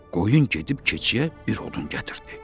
Qoyun gedib keçiyə bir odun gətirdi.